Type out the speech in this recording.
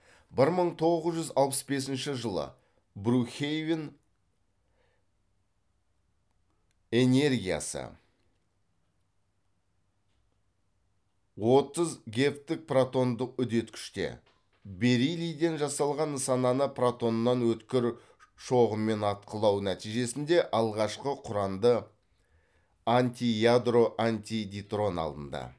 бір мың тоғыз жүз алпыс бесінші жылы брукхейвен энергиясы отыз гэвтік протондық үдеткіште бериллийден жасалған нысананы протоннын өткір шоғымен атқылау нәтижесінде алғашқы құранды антиядро антидейтрон алынды